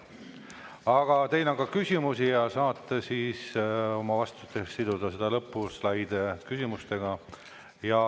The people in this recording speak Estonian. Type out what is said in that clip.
Aga teile on ka küsimusi ja saate siis oma vastustes siduda lõpuslaide küsimustega.